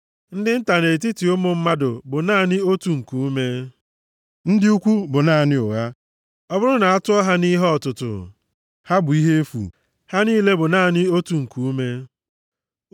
Ndị nta nʼetiti ụmụ mmadụ bụ naanị otu nkuume, ndị ukwu bụ naanị ụgha; ọ bụrụ na a tụọ ha nʼihe ọtụtụ, ha bụ ihe efu; ha niile bụ naanị otu nkuume.